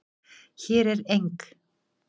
Hér er eng